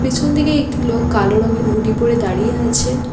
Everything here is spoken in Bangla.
পেছনদিকে একটি লোক কালো রঙের হুডি পরে দাঁড়িয়ে আছেন।